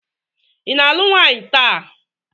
ị na-alụ nwaanyị taa?